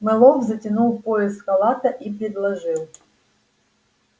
мэллоу затянул пояс халата и предложил